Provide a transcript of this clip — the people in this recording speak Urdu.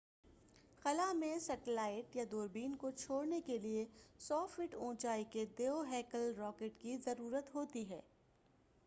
خلا میں سٹیلائٹ یا دوربین کو چھوڑنے کے لئے 100 فٹ اونچائی کے دیوہیکل راکٹ کی ضرورت ہوتی ہے